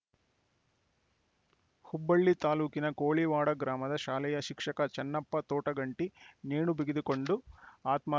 ಹುಬ್ಬಳ್ಳಿ ತಾಲೂಕಿನ ಕೋಳಿವಾಡ ಗ್ರಾಮದ ಶಾಲೆಯ ಶಿಕ್ಷಕ ಚನ್ನಪ್ಪ ತೋಟಗಂಟಿ ನೇಣು ಬಿಗಿದುಕೊಂಡು ಆತ್ಮ